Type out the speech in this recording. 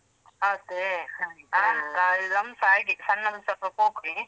ಅದೇ ಹ ಸ ಹಾಗೆ ಸಣ್ಣವನ್ ಸಾ ಸ್ವಲ್ಪ ಪೊಕ್ರಿ.